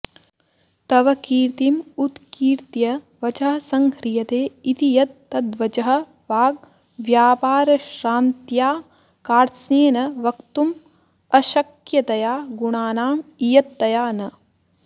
तव कीर्तिम् उत्कीर्त्य वचः संह्रियते इति यत् तद्वचः वाग्व्यापारश्रान्त्या कार्त्स्येन वक्तुम् अशक्यतया गुणानाम् इयत्तया न